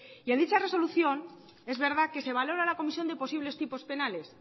y a dicha resolución es verdad que se valora la comisión de posibles tipos penales